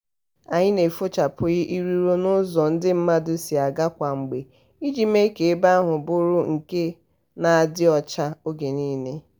anyị na-efochapụ iriro n'ụzọ ndị mmadụ si aga kwa mgbe iji mee ka ebe ahụ bụrụ nke na-adị ọcha oge ọbụla.